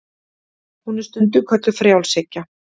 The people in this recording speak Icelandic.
hún er stundum kölluð frjálshyggja